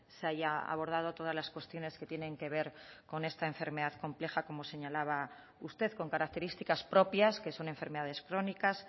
se haya abordado todas las cuestiones que tienen que ver con esta enfermedad compleja como señalaba usted con características propias que son enfermedades crónicas